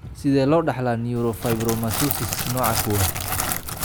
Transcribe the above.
Sidee loo dhaxlaa neurofibromatosis nooca kowad?